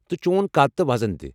تہٕ چون قد تہٕ وزن تہِ ۔